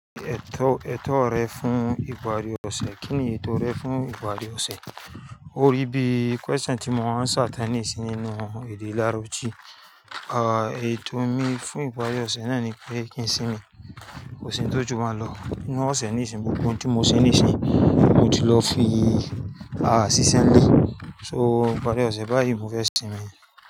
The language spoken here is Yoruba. Ètò, ètò rẹ fún ìparí ọ̀sẹ̀, kíni ètò rẹ fún ìparí ọ̀sẹ̀? O rí bí question tí mo answer tán ní ìsìn nínú ìdí láròji. Àw, ètò mi fún ìparí ọ̀sẹ̀ náà ni pé kí n sínmi kòsìn tó jù baun lọ. Nínú ọ̀sẹ̀ nísìn gbogbo òhùn tí mo ṣè nísìnyí, mo ti lọ fi, ah, si si nlé. So ìparí ọ̀sẹ̀ báyìí mo fẹ́ sínmi ní.